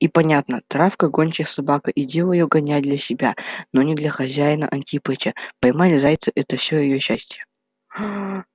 и понятно травка гончая собака и дело её гонять для себя но для хозяина-антипыча поймать зайца это все её счастье